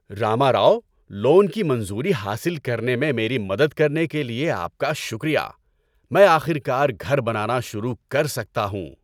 Rama Rao, loan کی منظوری حاصل کرنے میں میری مدد کرنے کے لیے آپ کا شکریہ۔ میں آخر کار گھر بنانا شروع کر سکتا ہوں۔